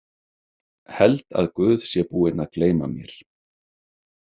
Held að Guð sé búinn að gleyma mér.